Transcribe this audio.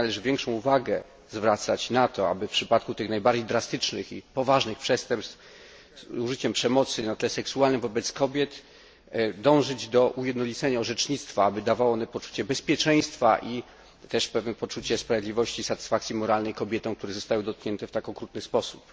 Dlatego należy większą uwagę zwracać na to, aby w przypadku tych najbardziej drastycznych i poważnych przestępstw z użyciem przemocy na tle seksualnym wobec kobiet, dążyć do ujednolicenia orzecznictwa, aby dawało ono poczucie bezpieczeństwa i też pewne poczucie sprawiedliwości, satysfakcji moralnej kobietom, które zostały dotknięte w tak okrutny sposób.